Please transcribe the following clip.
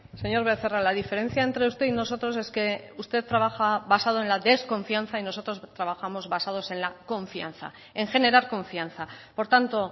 señor becerra la diferencia entre usted y nosotros es que usted trabaja basado en la desconfianza y nosotros trabajamos basados en la confianza en generar confianza por tanto